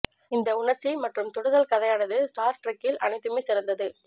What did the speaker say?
இந்த உணர்ச்சி மற்றும் தொடுதல் கதையானது ஸ்டார் ட்ரெக்கில் அனைத்துமே சிறந்தது